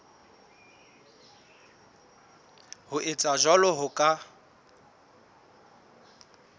ho etsa jwalo ho ka